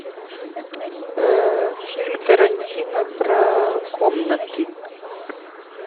фильм тарантино про комнаты